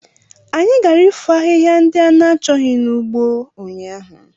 Anyị gara ifo ahịhịa ndị a na-achọghị n'ugbo ụnyaahụ.